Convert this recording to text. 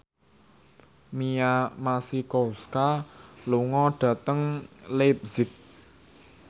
Mia Masikowska lunga dhateng leipzig